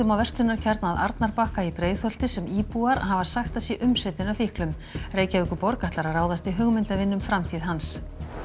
verslunarkjarna að Arnarbakka í Breiðholti sem íbúar hafa sagt að sé umsetinn af fíklum Reykjavíkurborg ætlar að ráðast í hugmyndavinnu um framtíð hans